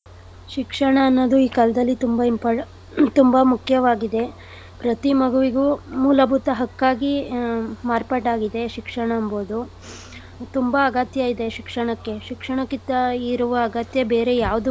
ಶಿಕ್ಷಣ ಅನ್ನೋದು ಈ ಕಾಲ್ದಲ್ಲಿ ತುಂಬಾ imp~ ತುಂಬಾ ಮುಖ್ಯವಾಗಿದೆ. ಪ್ರತಿ ಮಗುವಿಗೂ ಮೂಲಭೂತ ಹಕ್ಕಾಗಿ ಆ ಮಾರ್ಪಾಟಾಗಿದೆ ಶಿಕ್ಷಣ ಎಂಬುದು. ತುಂಬಾ ಅಗತ್ಯ ಇದೆ ಶಿಕ್ಷಣಕ್ಕೆ ಶಿಕ್ಷಣಕ್ಕೆ ಇದ್ದ ಇರುವ ಅಗತ್ಯ ಬೇರೆ ಯಾವ್ದಕ್ಕು.